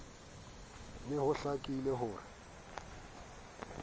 ne ho hlakile ho re